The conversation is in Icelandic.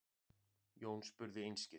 Jón spurði einskis.